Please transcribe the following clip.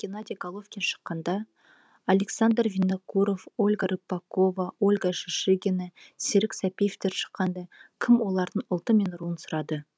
геннадий головкин шыққанда александр винокуров ольга рыпакова ольга шишигина серік сәпиевтер шыққанда кім олардың ұлты мен руын сұрады